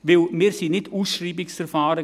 Denn wir waren nicht ausschreibungserfahren.